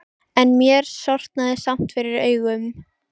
En mér sortnaði samt fyrir augum.